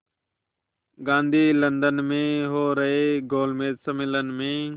Gandhi London में हो रहे गोलमेज़ सम्मेलन में